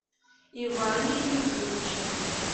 иване юрьевиче